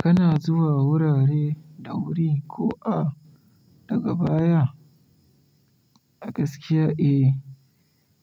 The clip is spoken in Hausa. Kana zuwa wurare da wuri ko a daga baya? A gaskiya eh,